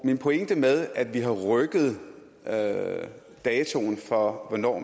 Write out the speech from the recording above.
min pointe med at vi har rykket datoen for hvornår